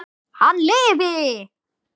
Hann lifi!